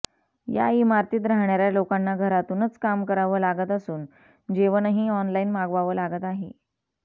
या इमारतीत राहणाऱ्या लोकांना घरातूनच काम करावं लागत असून जेवणही ऑनलाईन मागवावं लागत आहे